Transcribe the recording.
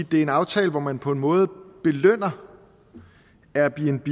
det er en aftale hvor man på måde belønner airbnb